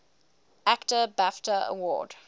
actor bafta award